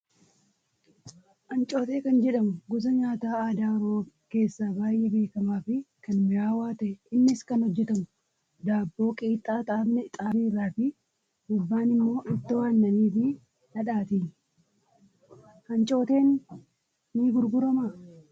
Ancootee kan jedhamu gosa nyaataa aadaa oromoo keessaa baay'ee beekamaa fi kan mi'aawu ta'ee innis kan hojjatamu daabboo qixxaa xaafii irraa fi gubbaan immoo ittoo aannanii fi dhadhaatiini. Ancooteen ni gurguramaa?